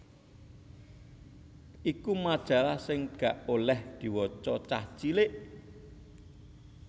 iku majalah sing gak oleh diwaca cah cilik